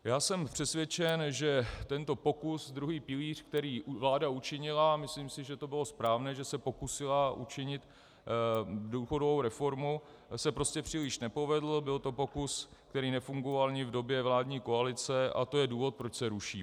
Já jsem přesvědčen, že tento pokus, druhý pilíř, který vláda učinila, a myslím si, že to bylo správné, že se pokusila učinit důchodovou reformu, se prostě příliš nepovedl, byl to pokus, který nefungoval ani v době vládní koalice, a to je důvod, proč se ruší.